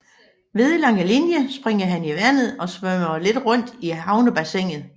Ved Langelinie springer han i vandet og svømmer lidt rundt i havnebassinet